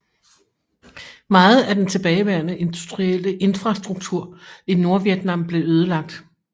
Meget af den tilbageværende industrielle infrastruktur i Nordvietnam blev ødelagt